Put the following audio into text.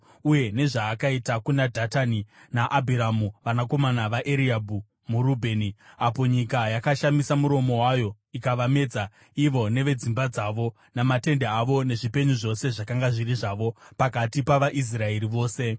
uye nezvaakaita kuna Dhatani naAbhiramu vanakomana vaEriabhi muRubheni, apo nyika yakashamisa muromo wayo ikavamedza ivo nevedzimba dzavo, namatende avo nezvipenyu zvose zvakanga zviri zvavo, pakati pavaIsraeri vose.